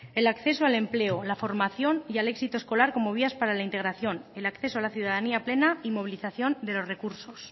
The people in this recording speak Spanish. el acceso al empleo o la formación y al éxito escolar como vías para la integración el acceso a la ciudadanía plena y movilización de los recursos